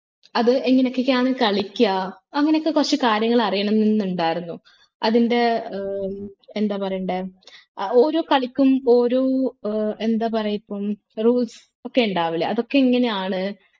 അത് എങ്ങാനൊക്കൊക്കെയാണ് കാളിക്ക അങ്ങനൊക്കെ കുറച്ച് കാര്യങ്ങൾ അറിയണം എന്നുണ്ടായിരുന്നു അതിൻ്റെ ഏർ എന്താ പറയണ്ടേ ഓരോ കളിക്കും ഓരോ ഏർ എന്താ പറയ ഇപ്പൊ rules ഒക്കെ ഇണ്ടാവൂലെ അതൊക്കെ എങ്ങനെയാണ്